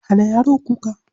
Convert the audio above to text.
Hana yaron kuka.